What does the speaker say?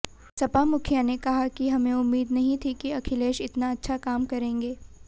सपा मुखिया ने कहा कि हमें उम्मीद नहीं थी कि अखिलेश इतना अच्छा काम करेंगे